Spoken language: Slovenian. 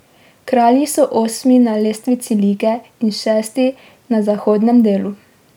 Kralji so osmi na lestvici lige in šesti na zahodnem delu.